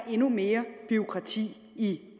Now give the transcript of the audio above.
endnu mere bureaukrati i